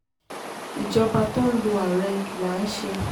ìjọba tó ń lo ààrẹ là ń ṣe